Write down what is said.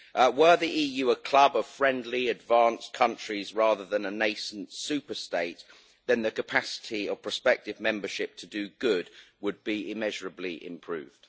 Were the EU a club of friendly advanced countries rather than a nascent superstate then the capacity of prospective membership to do good would be immeasurably improved.